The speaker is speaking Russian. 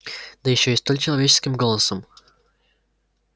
да ещё и столь человеческим голосом